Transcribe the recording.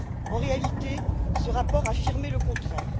En réalité, ce rapport affirmait le contraire.